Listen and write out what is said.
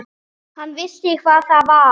Hann vissi hvað það var.